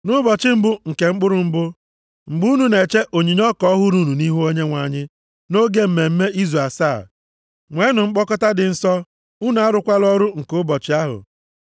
“ ‘Nʼụbọchị mbụ nke mkpụrụ mbụ, mgbe unu na-eche onyinye ọka ọhụrụ unu nʼihu Onyenwe anyị nʼoge mmemme Izu Asaa, nweenụ mkpọkọta dị nsọ. Unu arụkwala ọrụ nke ụbọchị ahụ.